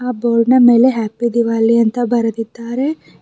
ಆ ಬೋರ್ಡ್ ನ ಮೇಲೆ ಹ್ಯಾಪಿ ದಿವಾಲಿ ಅಂತ ಬರೆದಿದ್ದಾರೆ.